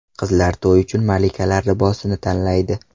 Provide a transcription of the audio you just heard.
Qizlar to‘y uchun malikalar libosini tanlaydi.